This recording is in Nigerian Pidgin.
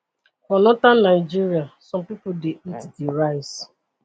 for northern nigeria some pipo dey eat di rice